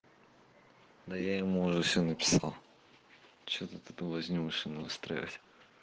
но я ему уже все написал что ты ты возьмёшь и настраивать